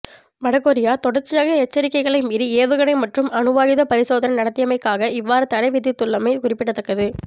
வடகொரியா தொடர்ச்சியாக எச்சரிக்கைகளை மீறி ஏவுகணை மற்றும் அணுவாயுத பரிசோதனை நடத்தியமைக்காக இவ்வாறு தடை விதித்துள்ளமை குறிப்பிடத்தக்கது